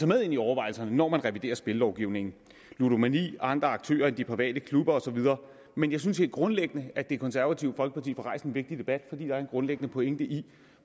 med ind i overvejelserne når man reviderer spillelovgivningen ludomani andre aktører end de private klubber og så videre men jeg synes helt grundlæggende at det konservative folkeparti får rejst en vigtig debat fordi der er en grundlæggende pointe i